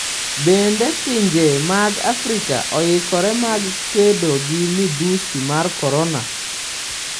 Bende pinje mag Afrika oikore mar kedo gi midhusi mar Korona?